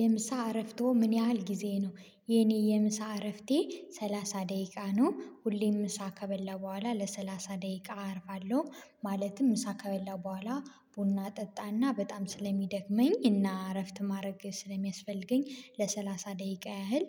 የምሳ እረፍቶ ምን ያህል ጊዜ ነው? የኔ የምሳ እረፍቴ ሰላሳ ደቂቃ ነው ሁሌም ምሳ ከበላው በኋላ ለሰላሳ ደቂቃ አርፍለሁ። ማለትም ምሳ ከበላው በኋላ ቡና ጠጣና በጣም ስለሚደክመኝ እና እረፍት ማድረግ ስለሚያስፈልገኝ ለሰላሳ ደቂቃ ያህል።